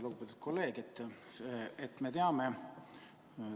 Lugupeetud kolleeg!